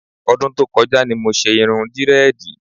Ọdún tó kọjá ni mo ṣe irun dírẹ́ẹ̀dì.